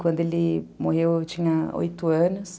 Quando ele morreu, eu tinha oito anos.